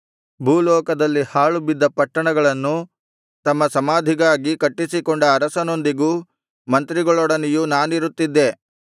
ಭೂಲೋಕದಲ್ಲಿ ಹಾಳುಬಿದ್ದ ಪಟ್ಟಣಗಳನ್ನು ತಮ್ಮ ಸಮಾಧಿಗಾಗಿ ಕಟ್ಟಿಸಿಕೊಂಡ ಅರಸರೊಂದಿಗೂ ಮಂತ್ರಿಗಳೊಡನೆಯೂ ನಾನಿರುತ್ತಿದ್ದೆ